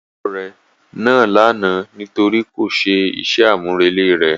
Olùkọ́ rẹ̀ nàá lánàá nítorí kò ṣe iṣẹ́ àmúrelé rẹ̀.